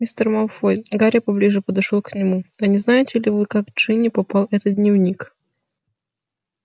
мистер малфой гарри поближе подошёл к нему а не знаете ли вы как к джинни попал этот дневник